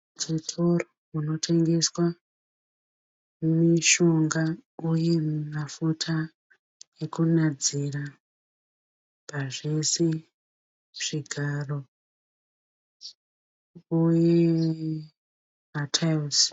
Chitoro munotengeswa mishonga uye mafuta ekunadzira pazvose. Zvigaro uye mataira.